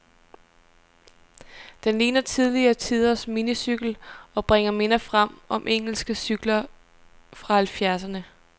Den ligner tidligere tiders minicykel, og bringer minder frem om engelske cykler fra halvfjerdserne.